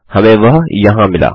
हमें वह यहाँ मिला